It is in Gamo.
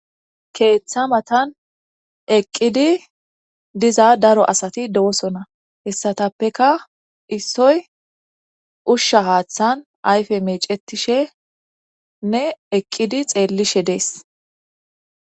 Keetha matan eqqidi diza daro asati doosona hesatappeka issoy ushsha haathan ayfe meecetishenne eqqidi xeelishe de'es.